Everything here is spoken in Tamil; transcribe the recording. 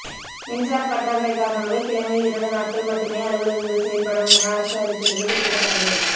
மின்சார பற்றாக்குறை காரணமாக கிழமையில் இரண்டு நாட்கள் மட்டுமே அலுவலங்கள் செயல்படும் என அரசு அறிவித்துள்ளது குறிப்பிடத்தக்கது